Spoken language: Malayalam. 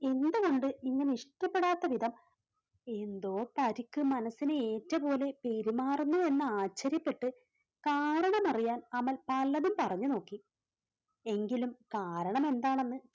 എന്തുകൊണ്ട് ഇങ്ങനെ ഇഷ്ടപ്പെടാത്ത വിധം എന്തോ പരിക്ക് മനസ്സിന് ഏറ്റ പോലെ പെരുമാറുന്നു എന്ന് ആശ്ചര്യപ്പെട്ട് കാരണം അറിയാൻ അമൽ പലതും പറഞ്ഞു നോക്കി. എങ്കിലും കാരണം എന്താണെന്ന്